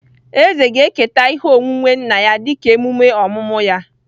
Eze ga-eketa ihe onwunwe nna ya dịka emume ọmụmụ ya